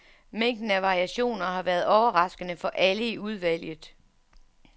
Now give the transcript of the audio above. Mængden af variationer har været overraskende for alle i udvalget.